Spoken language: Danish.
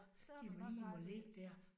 De må lige må ligge der